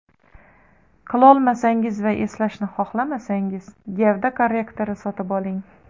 Qilolmasangiz va eslashni xohlamasangiz gavda korrektori sotib oling.